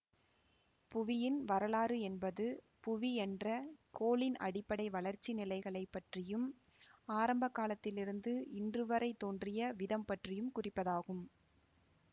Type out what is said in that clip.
புவியின் வரலாறு என்பது புவி என்ற கோளின் அடிப்படை வளர்ச்சி நிலைகளைப் பற்றியும் ஆரம்பகாலத்திலிருந்து இன்றுவரை தோன்றிய விதம்பற்றியும் குறிப்பதாகும்